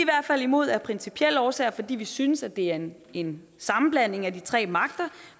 fald imod af principielle årsager fordi vi synes at det er en en sammenblanding af de tre magter